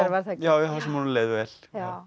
staðar já þar sem honum leið vel